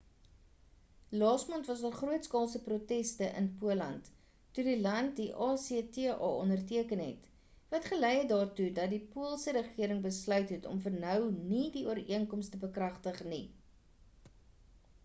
laasmaand was daar grootskaalse proteste in poland toe die land die acta onderteken het wat gelei het daartoe dat die poolse regering besluit het om vir nou nie die ooreenkoms te bekragtig nie